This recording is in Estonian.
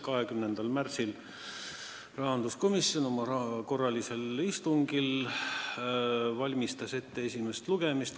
20. märtsil valmistas rahanduskomisjon oma korralisel istungil ette esimest lugemist.